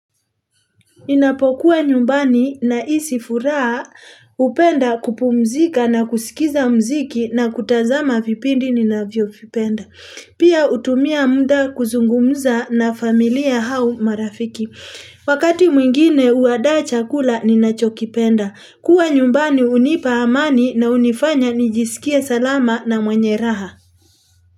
Ninapokuwa nyumbani nahisi furaha hupenda kupumzika na kusikiza muziki na kutazama vipindi ninavyovipenda. Pia hutumia muda kuzungumza na familia au marafiki. Wakati mwingine huandaa chakula ninachokipenda. Kuwa nyumbani hunipa amani na hunifanya nijisikie salama na mwenye raha.